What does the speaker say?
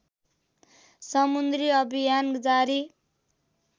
समुद्री अभियान जारी